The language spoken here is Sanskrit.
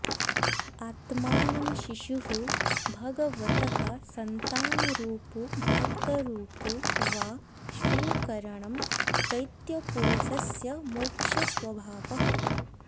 आत्मानं शिशुः भगवतः सन्तानरूपो भक्तरूपो वा स्वीकरणं चैत्यपुरुषस्य मुख्यस्वभावः